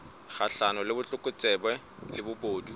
kgahlanong le botlokotsebe le bobodu